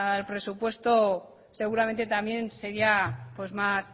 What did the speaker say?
al presupuesto seguramente también sería más